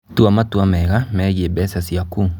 Tua matua mega megiĩ mbeca ciaku.